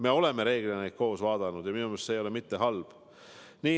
Me oleme reeglina neid koos vaadanud ja minu meelest see ei ole halb.